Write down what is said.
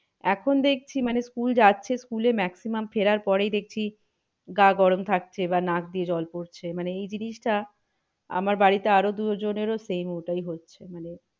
এখন দেখছি মানে school যাচ্ছে school এ maximum ফেরার পরে দেখছি গা গরম থাকছে। বা নাক দিয়ে জল পড়ছে মানে এই জিনিসটা আমার বাড়িতে আরো দুজনের ও same ওটাই হচ্ছে মানে